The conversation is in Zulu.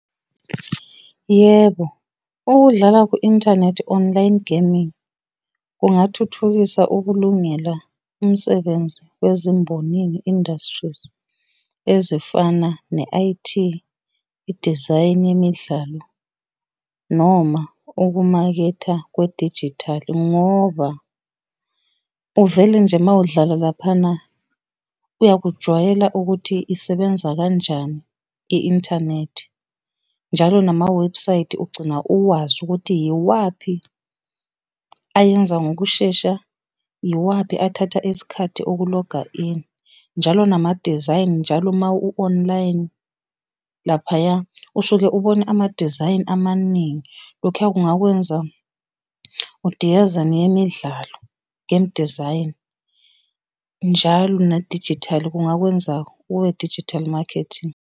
Yebo, ukudlala ku-inthanethi, online gaming, kungathuthukisa ukulungela umsebenzi wezimbonini, industries, ezifana ne-I_T, idizayini yemidlalo noma ukumaketha kwedijithali. Ngoba uvele nje uma udlala laphana uyakujwayela ukuthi isebenza kanjani i-inthanethi. Njalo namawebhusayithi ugcina uwazi ukuthi iwaphi ayenza ngokushesha, iwaphi athatha isikhathi ukuloga in. Njalo namadizayini njalo ma u-online laphaya, usuke ubone amadizayini amaningi, lokhuya kungakwenza neyemidlalo, game design, njalo nedijithali kungakwenza ube-digital marketing.